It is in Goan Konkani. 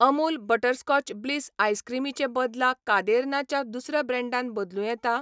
अमूल बटरस्कॉच ब्लिस आयसक्रीमी चे बदला कादेर्ना च्या दुसऱ्या ब्रँडान बदलूं येता?